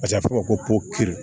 a bɛ fɔ ko